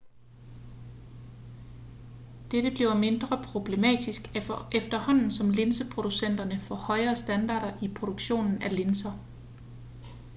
dette bliver mindre problematisk efterhånden som linseproducenterne får højere standarder i produktionen af linser